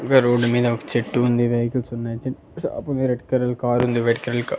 ఇంకా రోడ్డు మీద ఒక చెట్టు ఉంది వెహికల్స్ ఉన్నాయి చిన్ షాపు ఉంది రెడ్ కలర్ కారు ఉంది వైట్ కలర్ కార్ .